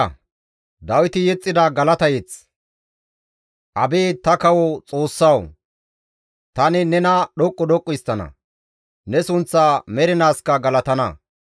Abeet ta kawo Xoossawu! Tani nena dhoqqu dhoqqu histtana; ne sunththa mernaaskka galatana.